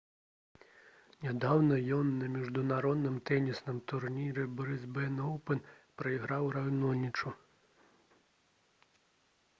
нядаўна ён на міжнародным тэнісным турніры «брысбен оўпэн» прайграў раонічу